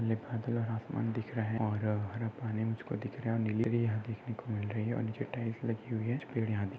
घने बादल और आसमान दिख रहा और हरा पानी मुझकों दिख रहा और नीले और नीचे टाईल्स लगी हुई है। कुछ पेड यहा दीख --